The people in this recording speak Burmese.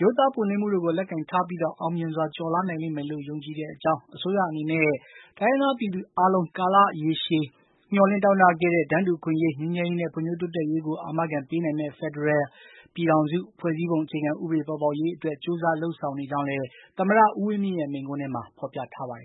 ရိုးသားပွင့်လင်းမှုတို့ကို လက်ကိုင်ထားပြီး အောင်မြင်စွာ ကျော်လွှားနိုင်မယ်လို့ ယုံကြည်တဲ့အကြောင်း၊ အစိုးရအနေနဲ့လည်း တိုင်းရင်းသားပြည်သူအားလုံး ကာလရေရှည် မျှော်လင့် တောင့်တခဲ့ရတဲ့ တန်းတူအခွင့်အရေး၊ ငြိမ်းချမ်းရေးနဲ့ ဖွံ့ဖြိုးတိုးတက်ရေးကို အာမခံခက်ပေးနိုင်မယ့် ဒီမိုကရေစီ ဖက်ဒရယ်ပြည်ထောင်စု ဖွဲ့စည်းပုံအခြေခံဥပဒေ ပေါ်ပေါက်ရေးအတွက် ကြိုးစား လုပ်ဆောင်နေကြောင်းလည်း သမ္မတ ဦးဝင်းမြင့်ရဲ့ မိန့်ခွန်းထဲမှာ ဖော်ပြထားပါတယ်